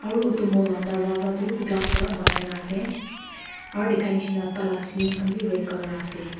aru etu moi lah darwaja tu glass para banai na ase aru dikhai nisna tah lah sin khan bhi red colour ase.